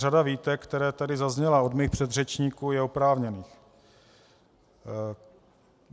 Řada výtek, které tady zazněly od mých předřečníků, je oprávněných.